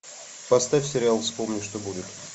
поставь сериал вспомни что будет